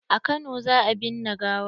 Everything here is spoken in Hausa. A kano za a binne gawar.